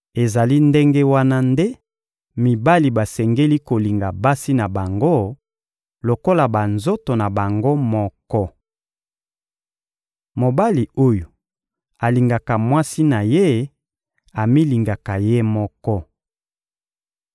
Ezali ndenge wana nde mibali basengeli kolinga basi na bango lokola banzoto na bango moko. Mobali oyo alingaka mwasi na ye amilingaka ye moko.